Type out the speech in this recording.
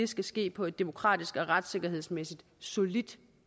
skal ske på et demokratisk og retssikkerhedsmæssigt solidt